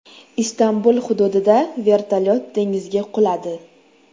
Istanbul hududida vertolyot dengizga quladi.